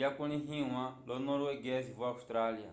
yakulĩhiwa lolo norueguese vo austrália